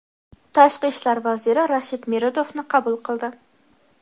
Tashqi ishlar vaziri Rashid Meredovni qabul qildi.